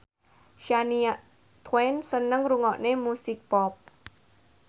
Shania Twain seneng ngrungokne musik pop